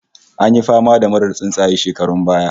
An yi fama da murar tsuntsaye shekarun baya